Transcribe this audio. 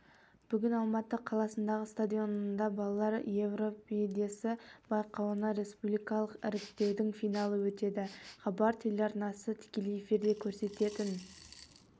бүгін алматы қаласындағы стадионында балалар евровидениесі байқауына республикалық іріктеудің финалы өтеді хабар телеарнасы тікелей эфирде көрсететін